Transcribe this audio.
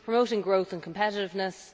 promoting growth and competitiveness